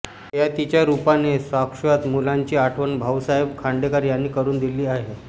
ययातिच्या रूपाने शाश्वत मूल्यांची आठवण भाऊसाहेब खांडेकर यांनी करून दिली आहे